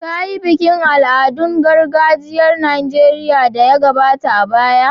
Kayi bikin al'adun gargajiyar Nijeriya da ya gabata a baya.